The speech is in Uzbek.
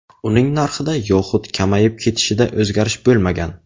Uning narxida yoxud kamayib ketishida o‘zgarish bo‘lmagan.